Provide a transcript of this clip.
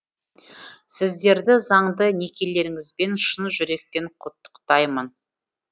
сіздерді заңды некелеріңізбен шын жүректен құттықтаймын